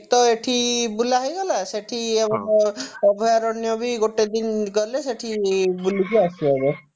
ତ ଏଠି ବୁଲା ହେଇଗଲା ସେଠି ଆମର ଅଭୟାରଣ୍ୟ ବି ଗୋଟେ ଦିନ ଗଲେ ସେଠି ବୁଲିକି ଆସି ହବ